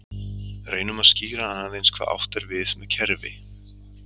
Reynum að skýra aðeins hvað átt er við með kerfi.